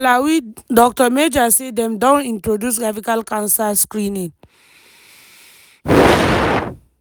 for malawi dr meja say dem don introduce cervical cancer screening.